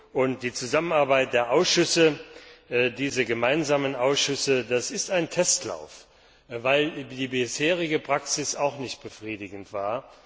Und die Zusammenarbeit der Ausschüsse, diese gemeinsamen Ausschüsse, das ist ein Testlauf, weil die bisherige Praxis auch nicht befriedigend war.